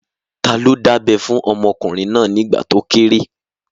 Ta ló dábẹ́ fún ọmọkùnrin náà nígbà tó kéré?